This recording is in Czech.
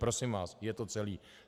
Prosím vás, je to celé.